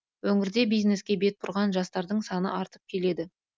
өңірде бизнеске бет бұрған жастардың саны артып келеді